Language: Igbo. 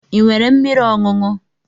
Ị nwere mmiri ọṅụṅụ?